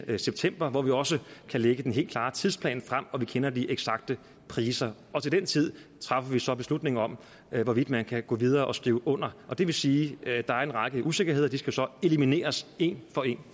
september hvor vi også kan lægge den helt klare tidsplan frem og hvor vi kender de eksakte priser til den tid træffer vi så beslutningen om hvorvidt man kan gå videre og skrive under det vil sige at der er en række usikkerheder og de skal så elimineres en for en